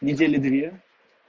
недели две